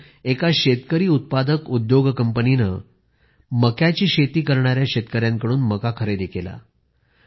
तिथे एका शेतकरी उत्पादक उद्योग कंपनीने मक्याची शेती करणाऱ्या शेतकऱ्यांकडून मका खरेदी केला